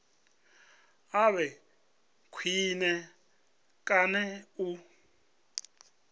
a vhe khwine kana u